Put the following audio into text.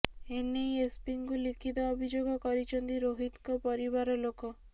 ଏନେଇ ଏସପିଙ୍କୁ ଲିଖିତ ଅଭିଯୋଗ କରିଛନ୍ତି ରୋହିତଙ୍କ ପରିବାର ଲୋକ